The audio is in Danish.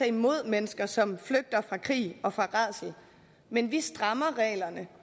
imod mennesker som flygter fra krig og rædsel men vi strammer reglerne